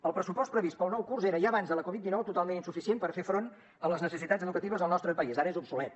el pressupost previst per al nou curs era ja abans de la covid dinou totalment insuficient per fer front a les necessitats educatives del nostre país ara és obsolet